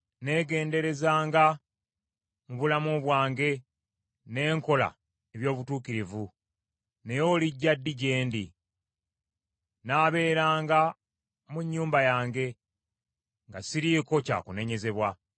Nneegenderezanga, mu bulamu bwange ne nkola eby’obutuukirivu, naye olijja ddi gye ndi? Nnaabeeranga mu nnyumba yange nga siriiko kya kunenyezebwa.